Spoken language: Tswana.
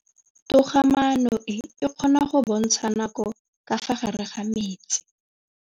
Toga-maanô e, e kgona go bontsha nakô ka fa gare ga metsi.